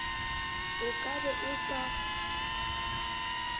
o ka be o sa